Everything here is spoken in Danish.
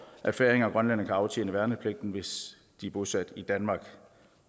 at færinger og grønlændere kan aftjene værnepligten hvis de er bosat i danmark